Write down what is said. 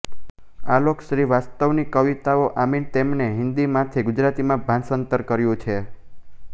આલોક શ્રીવાસ્તવની કવિતાઓ આમીનતેમણે હિન્દીમાંથી ગુજરાતીમાં ભાષાંતર કર્યું છે